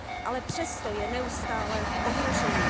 ale přesto je neustále v ohrožení.